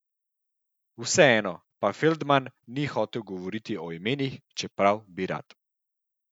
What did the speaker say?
Vseeno, pa Feldman ni hotel govoriti o imenih, čeprav bi rad.